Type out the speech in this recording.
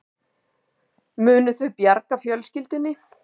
Munu þau bjarga fjölskyldunni